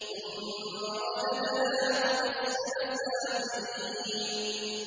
ثُمَّ رَدَدْنَاهُ أَسْفَلَ سَافِلِينَ